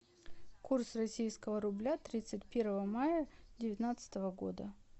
курс российского рубля тридцать первого мая девятнадцатого года